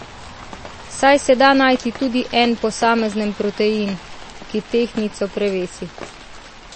Saj se da najti tudi en posamezen protein, ki tehtnico prevesi.